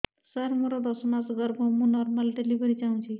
ସାର ମୋର ଦଶ ମାସ ଗର୍ଭ ମୁ ନର୍ମାଲ ଡେଲିଭରୀ ଚାହୁଁଛି